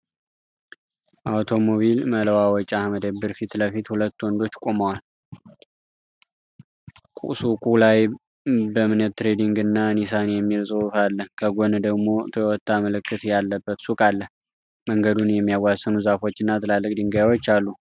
አውቶሞቢል መለዋወጫ መደብር ፊት ለፊት ሁለት ወንዶች ቆመዋል። ሱቁ ላይ "ቢምኔት ትሬዲንግ" እና "ኒሳን" የሚል ጽሁፍ አለ። ከጎን ደግሞ የ"ቶዮታ" ምልክት ያለበት ሱቅ አለ። መንገዱን የሚያዋስኑ ዛፎች እና ትላልቅ ድንጋዮች አሉ።